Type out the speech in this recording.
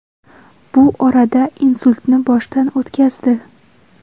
Bu orada insultni boshdan o‘tkazdi.